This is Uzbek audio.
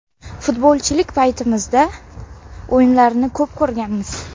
Futbolchilik paytimizda o‘yinlarini ko‘p ko‘rganmiz.